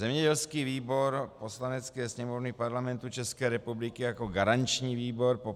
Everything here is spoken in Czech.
Zemědělský výbor Poslanecké sněmovny Parlamentu České republiky jako garanční výbor po